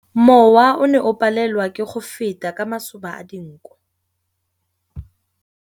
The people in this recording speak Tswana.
Mowa o ne o palelwa ke go feta ka masoba a dinko.